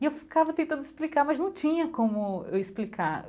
E eu ficava tentando explicar, mas não tinha como eu explicar.